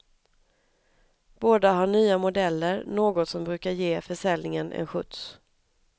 Båda har nya modeller, något som brukar ge försäljningen en skjuts.